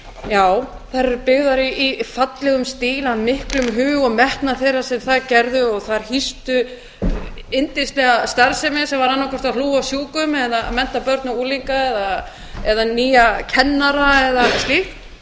já þær eru byggðar í fallegum stíl af miklum hug og metnaði þeirra sem það gerðu og þær hýstu yndislega starfsemi sem var annaðhvort að hlúa að sjúkum eða mennta börn og unglinga eða nýja kennara eða slíkt